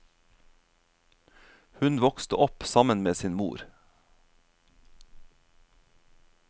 Hun vokste opp sammen med sin mor.